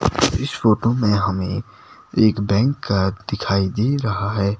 इस फोटो में हमें एक बैंक दिखाई दे रहा हैं।